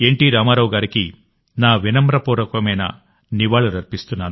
రామారావు గారికి నా వినమ్రపూర్వకమైన నివాళులర్పిస్తున్నాను